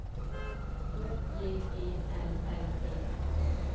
H J E L L E